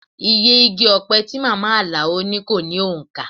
Iye igi ọpẹ tí màmá Alao ní kó ní òǹkà